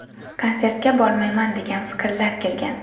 Konsertga bormayman degan fikrlar kelgan.